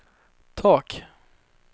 tak